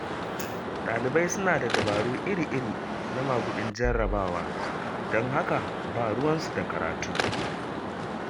Ɗalibai suna da dabaru iri-iri na maguɗin jarrawa, don haka ba ruwansu da karatu.